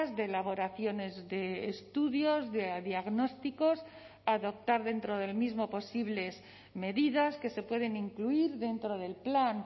de elaboraciones de estudios de diagnósticos adoptar dentro del mismo posibles medidas que se pueden incluir dentro del plan